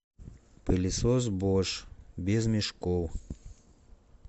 пылесос бош без мешков